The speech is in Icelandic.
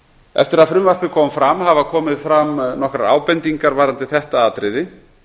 eftir að frumvarpið kom fram hafa komið fram nokkrar ábendingar um þetta atriði